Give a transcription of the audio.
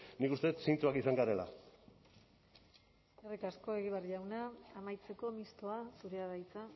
nik uste dut zintzoak izan garela eskerrik asko egibar jauna amaitzeko mistoa zurea da hitza